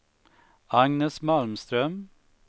Agnes Malmström